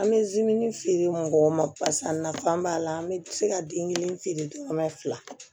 An bɛ feere mɔgɔw ma barisa nafan b'a la an bɛ se ka den kelen feere